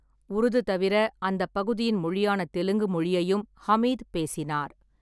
உருது தவிர, அந்தப் பகுதியின் மொழியான தெலுங்கு மொழியையும் ஹமீத் பேசினார்.